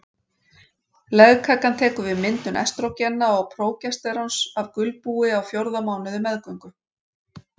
Legkakan tekur við myndun estrógena og prógesteróns af gulbúi á fjórða mánuði meðgöngu.